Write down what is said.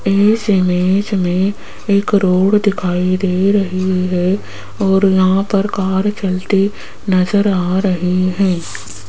इस इमेज में एक रोड दिखाई दे रही है और यहां पर कार चलते नजर आ रही है।